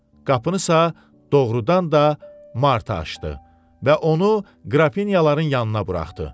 Qapınısa doğrudan da Marta açdı və onu qrafinyaların yanına buraxdı.